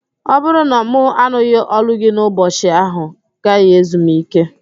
Ọ bụrụ na mụ anụghị ólú gị n'ụbọchị, ahụ gaghị ezu m íké